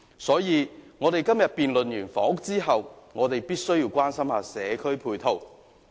因此，在今天完成有關房屋的辯論後，我們也要關心社區配套。